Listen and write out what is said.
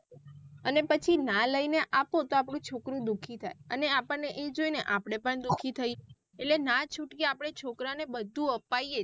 અને પછી ના લઈને આપો તો આપડું છોકરું દુઃખી થાય અને અર્પણ ને એ જોઈ ને આપડે પણ દુઃખી થઇ એટલે ના છૂટકે આપડે છોકરાને બધું અપાએ.